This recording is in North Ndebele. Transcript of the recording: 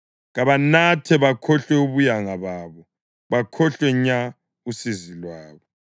kabanathe bakhohlwe ubuyanga babo bakhohlwe nya usizi lwabo.